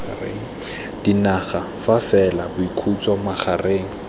dinaga fa fela boikhutso magareng